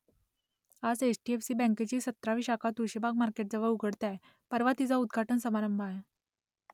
आता H D F C बँकेची सतरावी शाखा तुळशीबाग मार्केटजवळ उघडते आहे परवा तिचा उद्घाटन समारंभ आहे